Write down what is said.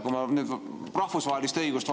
Kui me nüüd rahvusvahelist õigust